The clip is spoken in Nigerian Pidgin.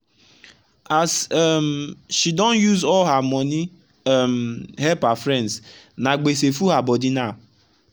as um she don use all her money um help her friendsna gbese full her body now